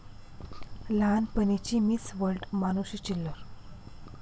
लहानपणीची Miss World Manushi Chhillar!